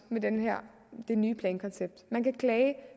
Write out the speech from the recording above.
med det her nye plankoncept man kan klage